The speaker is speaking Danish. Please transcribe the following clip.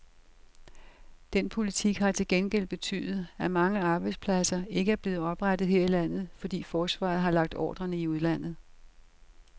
Den politik har til gengæld betydet, at mange arbejdspladser ikke er blevet oprettet her i landet, fordi forsvaret har lagt ordrerne i udlandet.